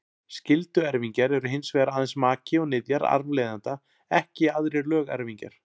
Skylduerfingjar eru hins vegar aðeins maki og niðjar arfleifanda, ekki aðrir lögerfingjar.